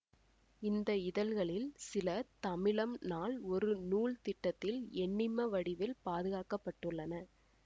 இந்த இதழ்களில் சில தமிழம் நாள் ஒரு நூல் திட்டத்தில் எண்ணிம வடிவில் பாதுகாக்க பட்டுள்ளன